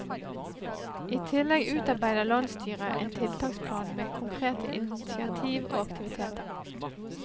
I tillegg utarbeider landsstyret en tiltaksplan med konkrete initiativ og aktiviteter.